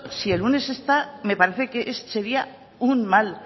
si el lunes está me parece que sería